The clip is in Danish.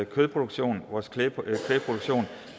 kødproduktion vores kvægproduktion